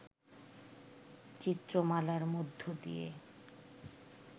চিত্রমালার মধ্য দিয়ে